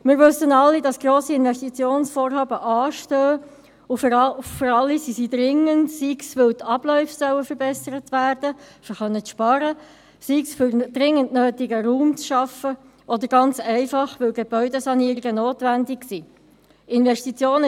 Wir wissen alle, dass grosse Investitionsvorhaben anstehen, und für alle sind sie dringend, sei dies, weil die Abläufe verbessert werden sollen, um sparen zu können, sei es, um dringend benötigten Raum zu schaffen, oder ganz einfach, weil Gebäudesanierungen notwendig sind.